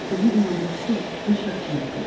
Özünü inandırıb ki, Mişa Kiyevə gedib.